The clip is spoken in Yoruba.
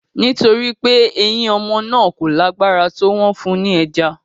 Nítorí pé eyín ọmọ náà kò lágbára tó, wọ́n fún un ní ẹja